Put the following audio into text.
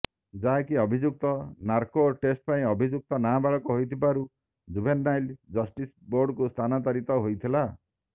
ଯାହାକି ଅଭିଯୁକ୍ତ narco test ପାଇଁ ଅଭିଯୁକ୍ତ ନାବାଳକ ହୋଇଥିବାରୁ ଜୁଭେନାଇଲ ଜଷ୍ଟିସ ବୋର୍ଡ଼ କୁ ସ୍ଥାନାନ୍ତରିତ ହୋଇଥିଲା